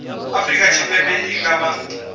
afrika tshipembe i nga vha